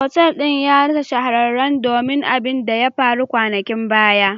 Otal din ya rassa shaharan don abin da ya faru kwanakin baya.